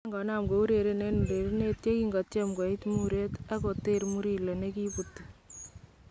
Kiakonam koureren en urerenet yekinko tyem koiit mureet , ara koteerr Murillo nekiibuuti